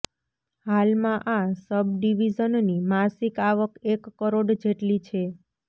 હાલમાં આ સબડીવીઝનની માસિક આવક એક કરોડ જેટલી છે